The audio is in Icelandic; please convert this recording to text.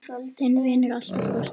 Þinn vinnur alltaf, Frosti.